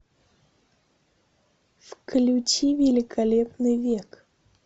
включи великолепный век